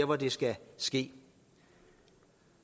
hvor det skal ske